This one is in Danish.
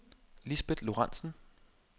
Lisbet Lorentzen